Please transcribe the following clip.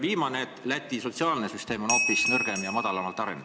Viimane asi: Läti sotsiaalsüsteem on hoopis nõrgem ja madalamalt arenenud.